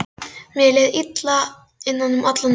Mér leið illa innan um allan þennan bjór.